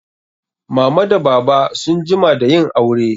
Mama da baba sun jima da yin aure.